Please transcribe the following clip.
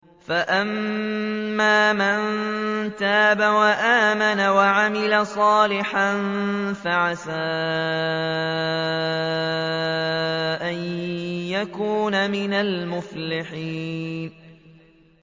فَأَمَّا مَن تَابَ وَآمَنَ وَعَمِلَ صَالِحًا فَعَسَىٰ أَن يَكُونَ مِنَ الْمُفْلِحِينَ